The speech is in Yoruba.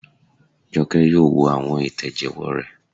Jọkẹ́ yóò wo àwọn ìtẹ̀jẹ́wọ́ rẹ̀